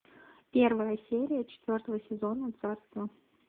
первая серия четвертого сезона царство